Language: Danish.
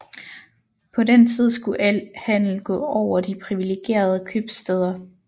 På den tid skulle al handel gå over de privilegerede købstæder